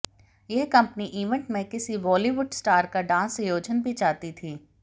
यह company event में किसी बॉलीवुड स्टार का डांस आयोजन भी चाहती थी